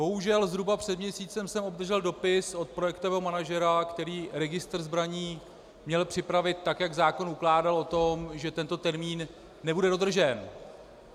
Bohužel, zhruba před měsícem jsem obdržel dopis od projektového manažera, který registr zbraní měl připravit tak, jak zákon ukládal, o tom, že tento termín nebude dodržen.